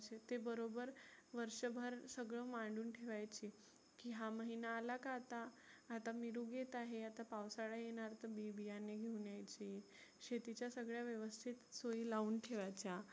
ते बरोबर वर्षभर सगळ मांडुन ठेवायचे. की हा महिना आला का आता, आता मिरुग येत आहे आता पावसाळा येणार तर बी बीयाने घेऊन यायची शेतिच्या सगळ्या व्यवस्थित सोयी लावून ठेवायच्या.